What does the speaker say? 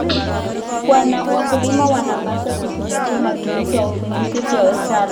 Wakulima wanapaswa kuzingatia matumizi ya viuatilifu vya asili.